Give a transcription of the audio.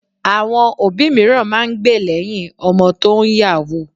Àwọn òbí mìíràn máa ń gbe lẹ́yìn ọmọ tó ń yàwúù